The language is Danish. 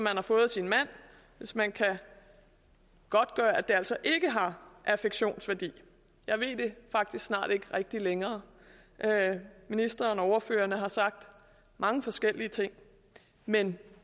har fået af sin mand hvis man kan godtgøre at det altså ikke har affektionsværdi jeg ved det faktisk snart ikke rigtig længere ministeren og ordførerne har sagt mange forskellige ting men